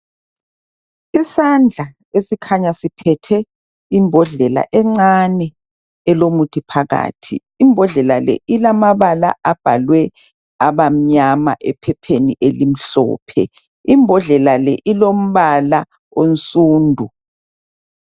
Isandla esikhanya siphethe imbodlela encane elomuthi phakathi imbodlela le ilomabala abhalwe aba mnyana ephepheni elimhlophe imbodlela le ilombala onsundu.